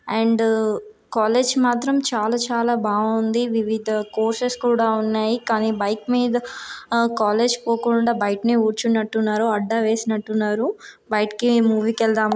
And college మాత్రం చాలా చాలా బాగుంది వివిధ కోర్సెస్ కూడా ఉన్నాయి కానీ బైక్ మీద ఆ కాలేజ్ పోకుండా బయటనే కూర్చున్నట్టున్నారు అడ్డవేసినట్టున్నారు బయటకి మూవీ కి వెళ్దాము.